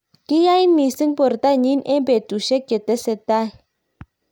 kiyait mising borto nyin eng' betusiek che teseitai